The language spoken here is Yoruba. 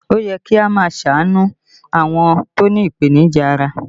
Ó yẹ kí a máa ṣàánú àwọn tó ní ipenija ara